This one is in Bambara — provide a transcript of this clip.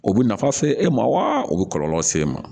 O bɛ nafa se e ma wa o bɛ kɔlɔlɔ se e ma